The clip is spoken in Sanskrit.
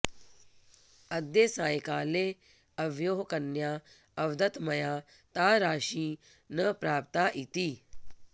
अद्य सायंकाले अवयोः कन्या अवदत् मया ता राशी न प्राप्ता इति